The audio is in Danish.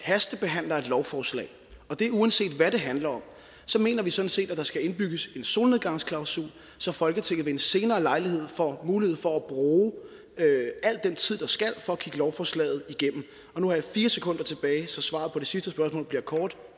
hastebehandler et lovforslag og det er uanset hvad det handler om så mener vi sådan set at der skal indbygges en solnedgangsklausul så folketinget ved en senere lejlighed får mulighed for at bruge al den tid der skal til for at kigge lovforslaget igennem og nu har jeg fire sekunder tilbage så svaret på det sidste spørgsmål bliver kort